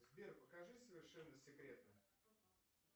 сбер покажи совершенно секретно